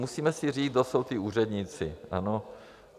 Musíme si říct, kdo jsou ti úředníci.